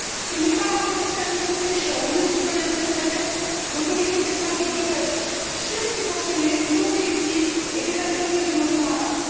Ce n'est pas rendre service aux pêcheurs, ni aux citoyens de cette planète, que d'autoriser cette pratique de pêche sur subventionnée, non sélective et dévastatrice de nos fonds marins.